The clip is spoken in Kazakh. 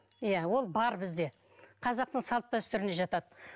иә ол бар бізде қазақтың салт дәстүріне жатады